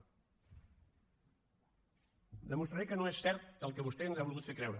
demostraré que no és cert el que vostè ens ha volgut fer creure